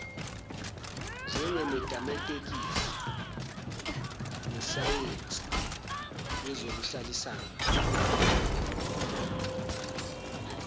njengemetametikisi nesayensi yezokuhlalisana